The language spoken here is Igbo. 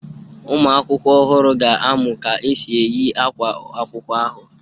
Ụmụakwụkwọ ọhụrụ ahụ ga-amụ ka e si eyi ákwá akwụkwọ ahụ.